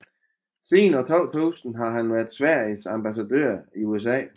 Siden 2000 har han været Sveriges ambassadør i USA